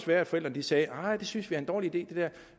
være at forældrene sagde nej det synes vi er en dårlig idé